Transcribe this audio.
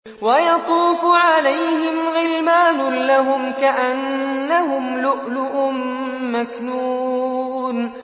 ۞ وَيَطُوفُ عَلَيْهِمْ غِلْمَانٌ لَّهُمْ كَأَنَّهُمْ لُؤْلُؤٌ مَّكْنُونٌ